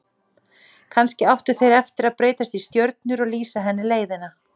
Kannski áttu þeir eftir að breytast í stjörnur og lýsa henni leiðina.